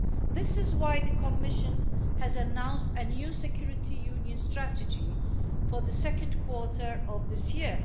This is why the Commission has announced a new security union strategy for the second quarter of this year.